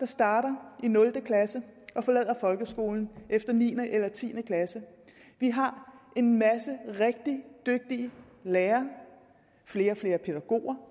starter i nul klasse og forlader folkeskolen efter niende eller tiende klasse vi har en masse rigtig dygtige lærere flere og flere pædagoger